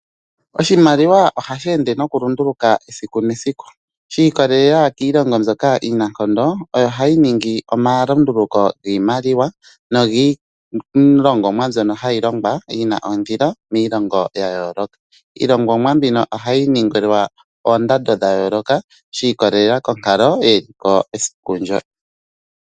Oshimaliwa ohashi ende mokulunduluka esiku nesiku shiikwatelela kiilongo mbyoka iinankondo oyo hayi ningi omalunduluko giimaliwa niilongomwa mbyoka hayi longwa yina ondili. Iilongomwa mbika ohayi ningilwa oondando dha yooloka shi ikwatelela konkalo yeliko esiku ndyo.